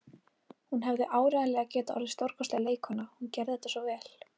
Hún hefði áreiðanlega getað orðið stórkostleg leikkona, hún gerði þetta svo vel.